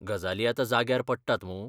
गजाली आतां जाग्यार पडटात मूं?